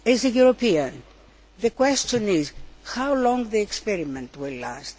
As a European, the question is how long will the experiment last?